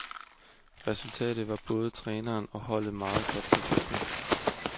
Rsultatet var både træneren og holdet meget godt tilfreds med.